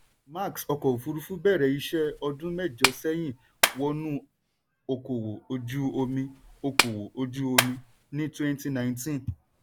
max ọkọ̀ òfúrufú bẹ̀rẹ̀ iṣẹ́ ọdún mẹ́jọ sẹ́yìn wọnú okòwò ojú omí okòwò ojú omí ní twenty nineteen.